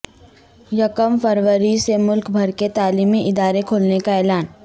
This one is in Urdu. یکم فروری سے ملک بھر کے تعلیمی ادار ے کھولنےکااعلان